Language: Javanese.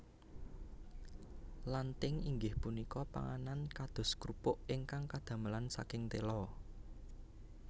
Lanthing inggih punika panganan kados krupuk ingkang kadamelan saking tela